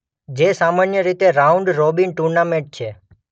જે સામાન્ય રીતે રાઉન્ડ રોબીન ટુર્નામેન્ટ છે.